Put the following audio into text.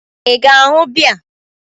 Ị ga-aṅụ bea?